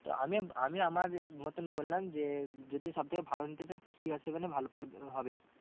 তো আমি আমার মতন বললাম যে যদি সব থেকে ভালো নিতে চাস তো CR seven এ ভালো হবে।